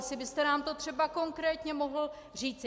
Jestli byste nám to třeba konkrétně mohl říct.